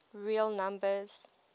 real numbers